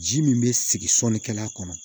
Ji min bɛ sigi sɔnikɛla kɔnɔ